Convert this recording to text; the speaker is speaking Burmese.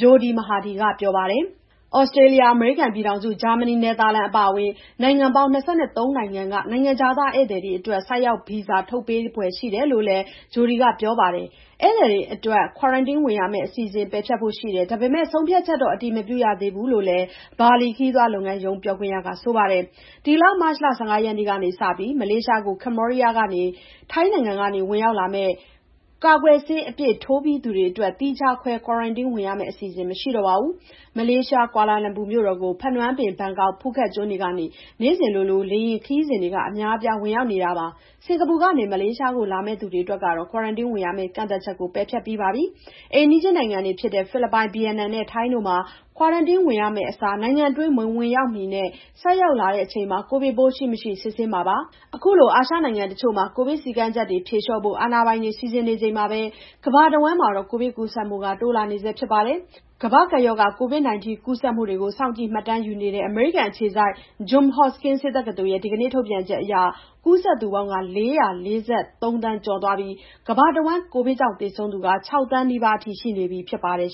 ဂျိုဒီမဟာဒီက ပြောပါတယ်။ သြစတြေးလျ၊ အမေရိကန်ပြည်ထောင်စု၊ ဂျာမနီ၊ နယ်သာလန် အပါအဝင် နိုင်ငံပေါင်း ၂၃ နိုင်ငံက နိုင်ငံခြားသား ဧည့်သည်တွေအတွက် ဆိုက်ရောက်ဗီဇာ ထုတ်ပေးဖွယ် ရှိတယ်လို့လည်း ဂျိုဒီမဟာဒီက ပြောပါတယ်။ ဧည့်သည်တွေအတွက် ကွာရမ်တင်းဝင်ရမယ့် အစီအစဉ် ပယ်ဖျက်ဖို့ရှိတယ်၊ ဒါပေမယ့် ဆုံးဖြတ်ချက်တော့ အတည်မပြုရသေးဘူးလို့လည်း ဘာလီခရီးသွားလုပ်ငန်းရုံး ပြောခွင့်ရက ပြောပါတယ်။ မတ်လ ၁၅ ရက်ကနေစပြီး မလေးရှားကို ကမ္ဘောဒီးယားနဲ့ ထိုင်းနိုင်ငံကနေ ဝင်ရောက်လာမယ့် ကာကွယ်ဆေး အပြည့်ထိုးပြီးသား သူတွေအတွက် သီးခြားခွဲ ကွာရမ်တင်းဝင်ရမယ့် အစီအစဉ် မရှိတော့ပါဘူး။ မလေးရှား ကွာလာလမ်ပူကို ဖနွမ်းပင်၊ ဘန်ကောက်နဲ့ ဖူးခက်ကျွန်းတွေကနေ နေ့စဉ်လို လေယာဉ်ခရီးစဉ်တွေ အများအပြား ဝင်ရောက်နေတာပါ။ စင်ကာပူကနေ မလေးရှားကို လာသူတွေအတွက်ကတော့ ကွာရမ်တင်းဝင်ရမယ့် ကန့်သတ်ချက်ကို ပယ်ဖျက်ပြီးသားပါ။ အိမ်နီးချင်းနိုင်ငံတွေဖြစ်တဲ့ ဖိလစ်ပိုင်၊ ဗီယက်နမ်နဲ့ ထိုင်းနိုင်ငံတွေမှာလည်း ကွာရမ်တင်းဝင်ရမယ့်အစား နိုင်ငံတွင်း မဝင်ရောက်မီနဲ့ ဆိုက်ရောက်လာချိန် ကိုဗစ်ပိုးရှိမရှိ စစ်ဆေးခဲ့ပါတယ်။ အခုလို အာရှနိုင်ငံတချို့မှာ ကိုဗစ်စည်းကမ်းချက်တွေ ဖြေလျှော့ဖို့ အာဏာပိုင်တွေ စီစဉ်နေချိန်မှာ ကမ္ဘာတဝန်းမှာတော့ ကိုဗစ်ကူးစက်မှုတွေက တိုးလာနေဆဲဖြစ်ပြီး ကမ္ဘာ့ကပ်ရောဂါ COVID-19 ကူးစက်မှုတွေကို စောင့်ကြည့်မှတ်တမ်းယူနေတဲ့ အမေရိကန်အခြေစိုက် John Hopkins ဆေးတက္ကသိုလ်ရဲ့ ဒီကနေ့ ထုတ်ပြန်ချက်အရ ကူးစက်သူပေါင်း ၄၄၃ သန်း ကျော်သွားပါပြီ။ ကမ္ဘာတဝန်း ကိုဗစ်ကြောင့် သေဆုံးသူကတော့ ၆ သန်းနီးပါးအထိ ရှိနေပြီဖြစ်ပါတယ်